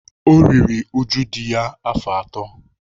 O riri uju dị ya afọ atọ.